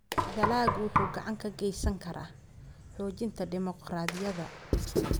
Dalaggu wuxuu gacan ka geysan karaa xoojinta dimuqraadiyadda.